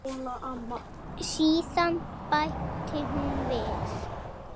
Síðan bætti hún við.